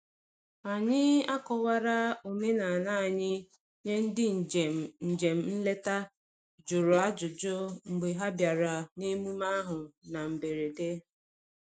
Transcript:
Anyị akọwara omenala anyị nye ndị njem njem nleta jụrụ ajụjụ mgbe ha bịara n’emume ahụ na mberede.